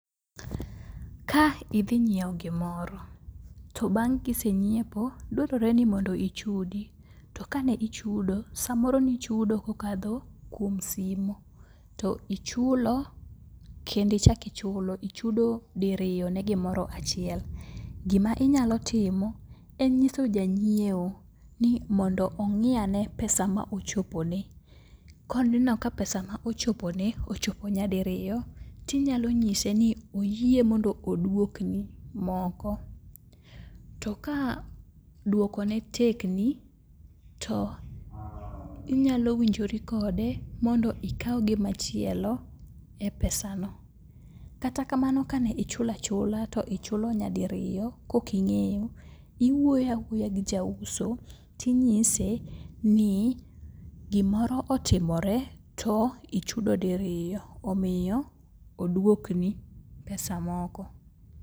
Ka idhinyieo gimoro to bang' kisenyiepo dwarore ni ichudi to kane ichudo samoro nichudo kokadho kuom simo to ichulo kendi ichaki ichulo ichulo diriyo ne gimoro achiel. Gima inyalo timo en ng'iso janyieo ni mondo ong'i ane pesa ma ochopone. Koneno ka pesa ma ochopone ochopo nyadiriyo tinyalo nyise ni oyie mondo odwokni moko. To ka dwokone tekni to inyalo winjori kode mondo ikaw gimachielo e pesano. Kata kamano ka ne ichulo achula to ichulo nyadiriyo, koking'eyo, iwuoyo awuoya gi jauso tinyise ni gimoro otimore to ichudo diriyo, omiyo oduokni pesa moko.